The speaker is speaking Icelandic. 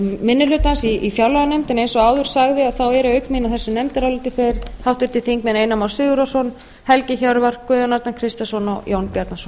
minni hlutans í fjárlaganefndinni eins og áður sagði eru auk mín á þessu nefndaráliti þeir háttvirtir þingmenn einar már sigurðarson helgi hjörvar guðjón arnar kristjánsson og jón bjarnason